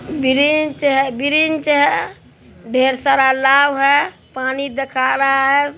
ब्रिनच है ब्रिनच है ढेर सारा लाव है पानी दिखा रहा है ।